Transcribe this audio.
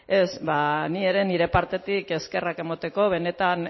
ez ba ni ere nire partetik eskerrak emateko benetan